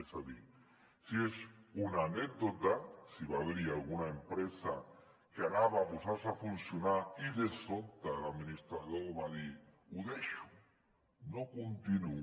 és a dir si és una anècdota si va haver hi alguna empresa que es volia posar a funcionar i de sobte l’administrador va dir ho deixo no continuo